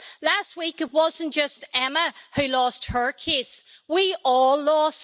Last week, it wasn't just Emma who lost her case. We all lost.